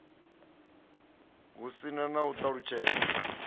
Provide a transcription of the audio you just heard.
hu si na u ṱalutshedza